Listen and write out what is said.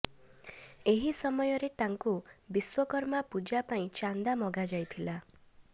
ଏହି ସମୟରେ ତାଙ୍କୁ ବିଶ୍ୱକର୍ମା ପୂଜା ପାଇଁ ଚାନ୍ଦା ମଗା ଯାଇଥିଲା